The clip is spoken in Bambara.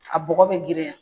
A bɔgɔ bɛ girinya